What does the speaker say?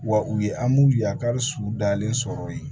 Wa u ye an b'u yakari su dalen sɔrɔ yen